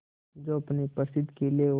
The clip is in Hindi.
जो अपने प्रसिद्ध किले और